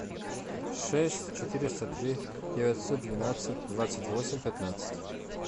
шесть четыреста три девятьсот двенадцать двадцать восемь пятнадцать